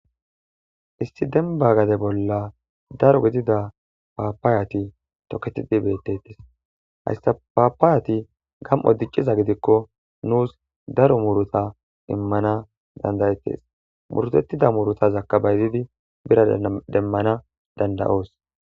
Issi denibba gada bolla daro gidida papayati toketidi betettes.hayissa papayati gam''o dicciza gidikko nusi daro muruta imanna danida'etees.murutetida murutazakka bayizzidi birra demanass danida'oss.